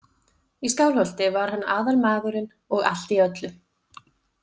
Í Skálholti var hann aðalmaðurinn og allt í öllu.